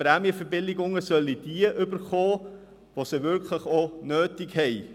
Prämienverbilligungen sollen diejenigen erhalten, die sie wirklich auch nötig haben.